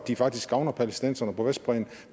de faktisk gavner palæstinenserne på vestbredden